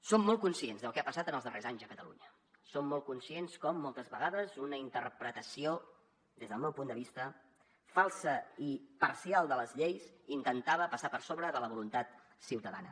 som molt conscients del que ha passat en els darrers anys a catalunya som molt conscients com moltes vegades una interpretació des del meu punt de vista falsa i parcial de les lleis intentava passar per sobre de la voluntat ciutadana